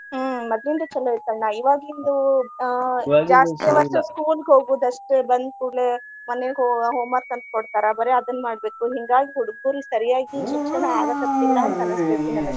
ಹ್ಮ್‌ ಮದ್ಲಿಂದ ಚೊಲೋ ಇತ್ತ ಅಣ್ಣಾ ಇವಾಗಿಂದು ಆಹ್ ಜಾಸ್ತಿ hours school ಗ ಹೋಗುದ ಅಷ್ಟೇ ಬಂದಕೂಡ್ಲೇ ಮನಿಗ homework ಅಂತ ಕೊಡ್ತಾರ ಬರೆ ಅದನ್ನ ಮಾಡ್ಬೇಕು. ಹಿಂಗಾಗಿ ಹುಡ್ಗುರಿಗೆ ಸರಿಯಾಗಿ ಶಿಕ್ಷಣ ಆಗಾಕತ್ತಿಲ್ಲಾ ಅನಸ್ತೆತಿ ನನಗ.